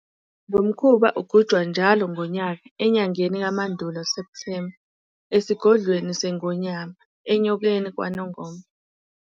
Lo mkhuba ugujwa njalo ngonyaka, enyangeni kaMandulo, September, esiGodlweni seNgonyama, eNyokeni kwaNongoma.